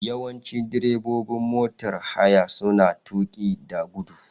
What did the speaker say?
Yawanci direbobin motar haya suna tuƙi da gudu.